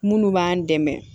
Munnu b'an dɛmɛ